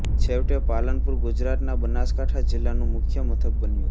છેવટે પાલનપુર ગુજરાતના બનાસકાંઠા જિલ્લાનું મુખ્ય મથક બન્યું